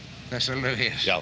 þessa laug